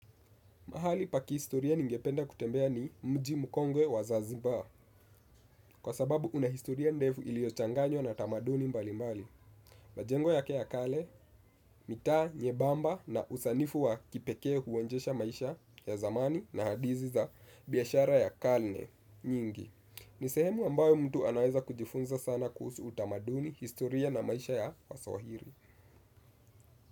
Mahali pa kihistoria ningependa kutembea ni mji mkongwe wa zanzibar, kwa sababu unahistoria ndefu iliyochanganywa na tamaduni mbali mbali. Majengo yake ya kale, mitaa, nyebamba na usanifu wa kipekee huonjesha maisha ya zamani na hadithi za biyashara ya kalne nyingi. Ni sehemu ambayo mtu anaweza kujifunza sana kuhusu utamaduni, historia na maisha ya waswahiri.